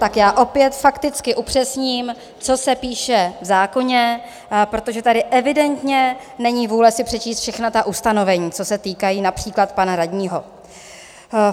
Tak já opět fakticky upřesním, co se píše v zákoně, protože tady evidentně není vůle si přečíst všechna ta ustanovení, co se týkají například pana radního.